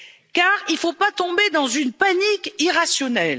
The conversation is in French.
car il ne faut pas tomber dans une panique irrationnelle.